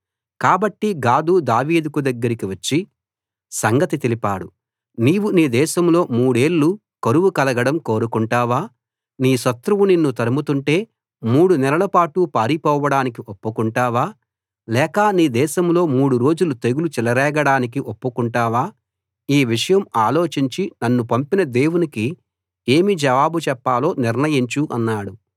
కాబట్టి గాదు దావీదు దగ్గరికి వచ్చి సంగతి తెలిపాడు నీవు నీ దేశంలో మూడేళ్ళు కరువు కలగడం కోరుకుంటావా నీ శత్రువు నిన్ను తరుముతుంటే మూడునెలల పాటు పారిపోడానికి ఒప్పుకుంటావా లేక నీ దేశంలో మూడు రోజులు తెగులు చెలరేగడానికి ఒప్పుకొంటావా ఈ విషయం ఆలోచించి నన్ను పంపిన దేవునికి ఏమి జవాబు చెప్పాలో నిర్ణయించు అన్నాడు